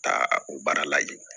Taa o baara lajɛ